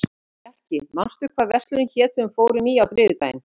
Bjarki, manstu hvað verslunin hét sem við fórum í á þriðjudaginn?